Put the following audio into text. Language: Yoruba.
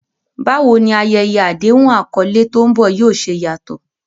Báwo ni ayẹyẹ àdéhùn àkọlé tó ń bọ̀ yóò ṣe yàtọ̀?